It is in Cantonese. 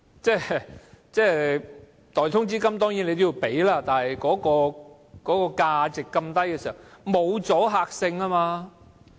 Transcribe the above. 當然，代通知金要支付，但代價那麼低實無阻嚇力。